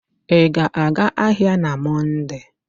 Ị ga-aga ahịa na Mọnde?